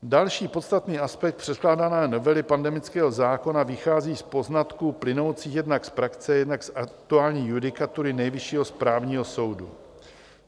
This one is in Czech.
Další podstatný aspekt předkládané novely pandemického zákona vychází z poznatků plynoucích jednak z praxe, jednak z aktuální judikatury Nejvyššího správního soudu.